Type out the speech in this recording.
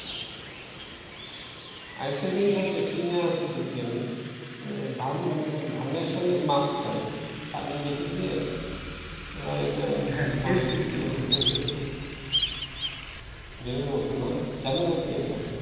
আরেকটা জিনিস আছে চীনে আছে দেখছি আমি ধানের ধানের সঙ্গে মাছ করে পানি বেশি দিয়ে ওরা এটা ক্ষেত system করে ফেলে ওরা ঘেরের মত না জানেন আপনি এটা ।